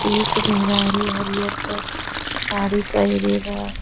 एक मेहरारू हरियर क साड़ी पहिरे बा।